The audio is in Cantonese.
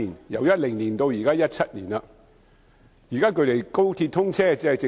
由2010年到2017年 ，7 年已過但仍未能解決。